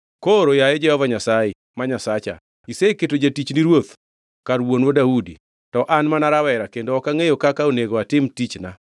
“Koro, yaye Jehova Nyasaye, ma Nyasacha, iseketo jatichni ruoth kar wuonwa Daudi. To an mana rawera kendo ok angʼeyo kaka onego atim tichna.